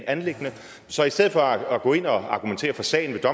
anliggende så i stedet for at gå ind og argumentere for sagen ved